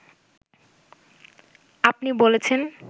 আপনি বলেছেন